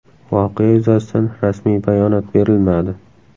Voqea yuzasidan rasmiy bayonot berilmadi.